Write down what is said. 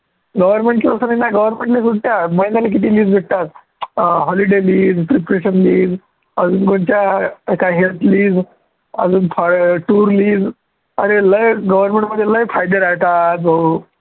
government ची authority government ने महिन्याला किती leaves भेटतात holiday leave अजून कोणच्या health leave अजून tour leave अरे लय government मध्ये लय फायदे राहतात भाऊ